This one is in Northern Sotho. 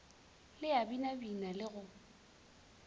le a binabina le go